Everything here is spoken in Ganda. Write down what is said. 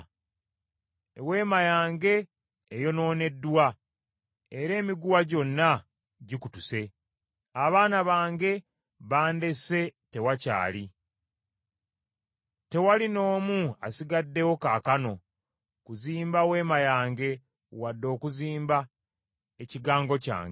Eweema yange eyonooneddwa, era emiguwa gyonna gikutuse, abaana bange bandese, tewakyali. Tewali n’omu asigaddewo kaakano kuzimba weema yange wadde okuzimba ekigango kyange.